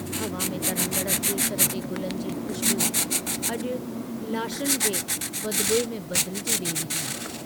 हवा में तरंदड़ केसर जे गुलनि जी ख़ुशबू अजु लाशनि जे बदबूइ में बदिलजी वेई हुई।